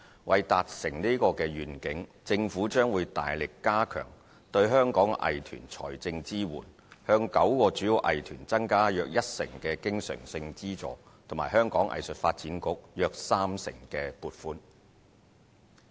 為達成此願景，政府將會大力加強對香港藝團的財政支援，向9個主要藝團增加約一成的經常性資助及香港藝術發展局約三成撥款。